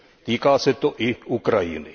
Týká se to i Ukrajiny.